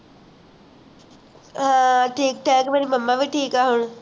ਹਾਂ ਠੀਕ ਠਾਕ ਮੇਰੀ momma ਵੀ ਠੀਕ ਹੈ ਹੁਣ